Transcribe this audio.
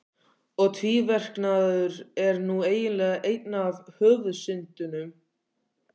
Og tvíverknaður er nú eiginlega ein af höfuðsyndunum.